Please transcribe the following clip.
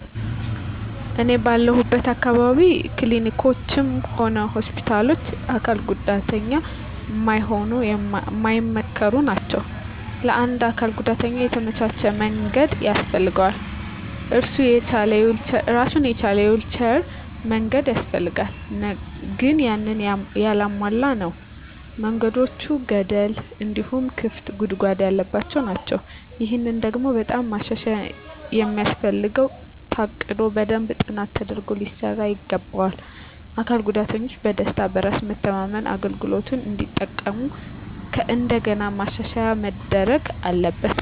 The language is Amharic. እኔ ባለሁለት አካባቢ ክሊኒኮችም ሆነ ሆስፒታሎች ለአካል ጉዳተኛ ማይሆኑ ማይመከሩ ናቸው። ለአንድ አካል ጉዳተኛ የተመቻቸ መንገድ ያስፈልገዋል እራሱን የቻለ የዊልቸር መንገድ ያስፈልጋል ግን ያንን ያላሟላ ነው። መንገዶቹ ገደል እንዲሁም ክፍት ጉድጓድ ያለባቸው ናቸው። ይሄ ደግሞ በጣም ማሻሻያ የሚያስፈልገው ታቅዶ በደንብ ጥናት ተደርጎ ሊሰራ ይገባዋል። አካል ጉዳተኞች በደስታ፣ በራስ መተማመን አገልግሎቱን እንዲጠቀሙ ከእንደገና ማሻሻያ መደረግ አለበት።